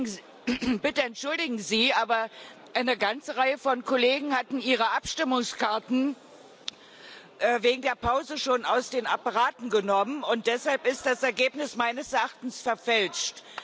Entschuldigen Sie bitte, aber eine ganze Reihe von Kollegen hatten ihre Abstimmungskarten wegen der Pause schon aus den Apparaten genommen, und deshalb ist das Ergebnis meines Erachtens verfälscht.